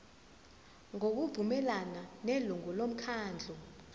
ngokuvumelana nelungu lomkhandlu